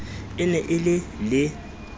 e ne e le le